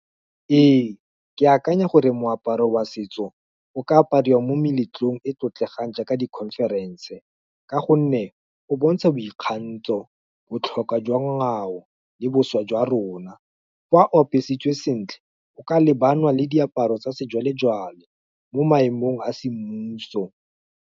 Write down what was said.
Ee, ke akanya gore moaparo wa setso, o ka apariwa mo meletlong e tlotlegang jaaka di conference, ka gonne, o bontsha boikgantso, botlhokwa jwa ngwao, le boswa jwa rona, fa o apesitswe sentle, o ka lebana le diaparo tsa sejwalejwale mo maemong a semmuso.